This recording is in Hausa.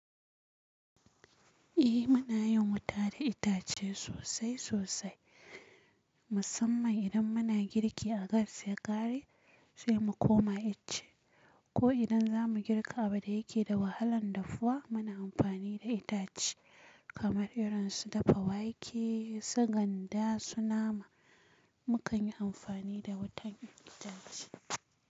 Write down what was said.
Eh, muna yin wuta da itace sosai sosai, musamman idan muna girki a gas ya ƙare sai mu koma ice. Ko idan za mu girka abin da yake da wahalan dafuwa, muna amfani da itace. Kamar irin su dafa wake, su ganda, su nama, mukan yi amfani da wutan itace.